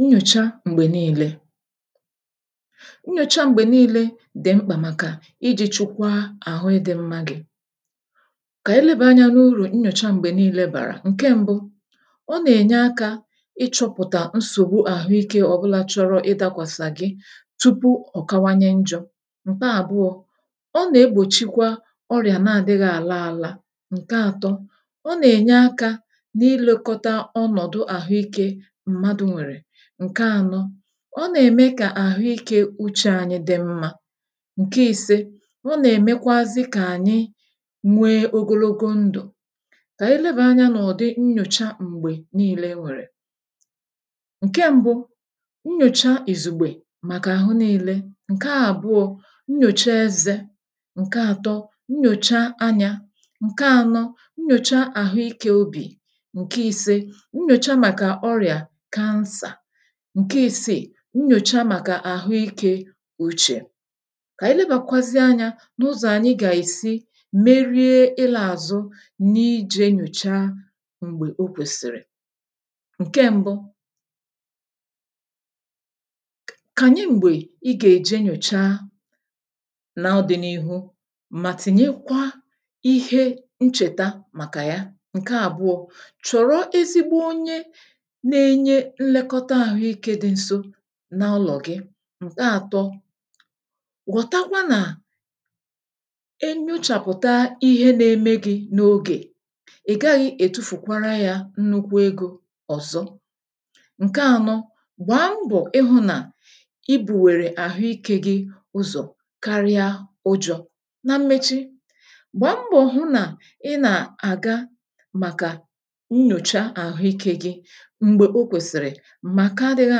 Nnyòcha m̀gbè niile: Nyòcha m̀gbè niile dì mkpà màkà iji chukwaa àhụ ịdị̇ mma gị. Kà anyị leba anyȧ n’urù nnyòcha m̀gbè niile bàrà; Nke mbụ, ọ nà-ènye akȧ ịchọ̇pụ̀tà nsògbu àhụikė ọ̀bụla chọrọ ịdȧkwàsà gị, tupu ọ̀ kawanye njọ.̇ Nke abụọ, ọ nà-egbòchikwa ọrịà na-àdịghị àla àlà. Nke àtọ, ọ nà-ènye akȧ na-ilukọta ọnọ̀dụ̀ àhụikė mmadụ nwèrè. Nke àno, ọ nà-ème kà àhụike uchė ànyị di mmȧ. Mke ise, ọ nà-èmekwazị kà ànyị nwee ogologo ndụ̀. Kà ànyị lebàa anyȧ n’ọ̀dị nnyòcha m̀gbè niilė nwèrè; Nke mbu, nnyòcha ìzùgbè, màkà àhụ niilė. Nke àbụọ, nnyòcha ezė. Nke àtọ, nyòcha anyȧ. Nke anọ, nnyòcha àhụike obì. Nke ise, Nyòcha maka ọrịà cancer. Nke isị, nyòcha màkà àhụ ikė uchè. Kà ànyị lebàkwazị anyȧ n’ụzọ̀ ànyị gà-ìsi merie ịlȧ àzụ n’ijė nyòcha m̀gbè o kwèsìrì; Nke m̀bu, k k kànyị m̀gbè i gà-èje nyòchaa n’ọdị̇ni̇hụ mà tìnyekwa ihe nchèta màkà ya. Nke àbụọ, choro ezigbo onye n'enye nlekota ȧhu ikė di nso ̇ n’ụlọ̀ gị. Nke àtọ, ghọ̀takwa nà enyochàpụ̀ta ihe nȧ-eme gị̇ n’ogè, i gaghị è tufùkwara yȧ nnukwu egȯ ọ̀zọ. Nke ànọ, gbàa mbọ̀ ị hụ̇ nà i bù wèrè àhụ ikė gị ụzọ̀ karịa ụjọ. ̇ Na mmechi, gbàa mbọ̀ hụ nà ị nà-àga màkà nnyòcha àhụ ikė gị m̀gbè o kwèsìri maka adịghị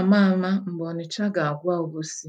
ama ama ̇ m̀gbè ọnịcha ga-agwa ọbosị.